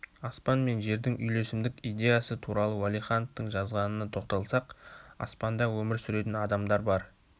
аспан мен жердің үйлесімдік идеясы туралы уәлихановтың жазғанына тоқталсақ аспанда өмір сүретін адамдар бар